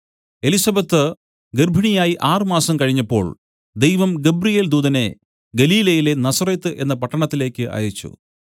Elizabeth ഗർഭിണിയായി ആറ് മാസം കഴിഞ്ഞപ്പോൾ ദൈവം ഗബ്രിയേൽദൂതനെ ഗലീലയിലെ നസറെത്ത് എന്ന പട്ടണത്തിലേക്ക് അയച്ചു